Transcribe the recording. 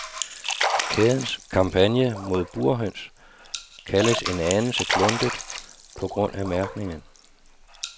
Kædens kampagne mod burhøns kaldes en anelse kluntet på grund af mærkningen.